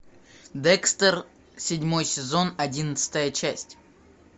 декстер седьмой сезон одиннадцатая часть